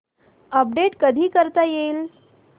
update कधी करता येईल